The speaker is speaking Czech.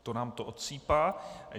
To nám to odsýpá.